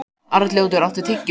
Arnljótur, áttu tyggjó?